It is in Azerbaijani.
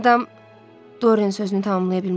O adam Dorian sözünü tamamlaya bilmədi.